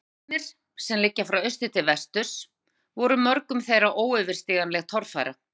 Fjallgarðarnir, sem liggja frá austri til vesturs, voru mörgum þeirra óyfirstíganleg torfæra.